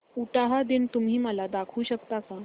उटाहा दिन तुम्ही मला दाखवू शकता का